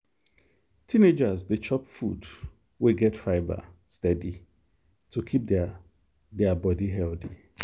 teenagers dey chop food wey get fibre steady to keep their their body healthy.